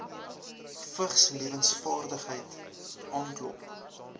vigslewensvaardighede aanklop